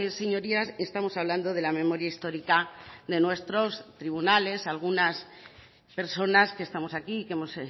señorías estamos hablando de la memoria histórica de nuestros tribunales algunas personas que estamos aquí y que hemos